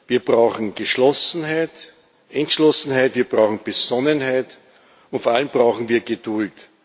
Wir brauchen Geschlossenheit, Entschlossenheit, wir brauchen Besonnenheit, und vor allem brauchen wir Geduld.